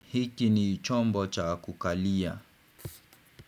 Hiki ni chombo cha kukalia.